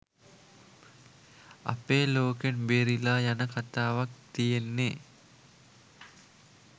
අපේ ලෝකෙන් බේරිලා යන කතාවක් තියෙන්නේ